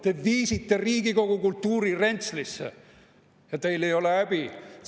Te viisite Riigikogu kultuuri rentslisse ja teil ei ole häbi.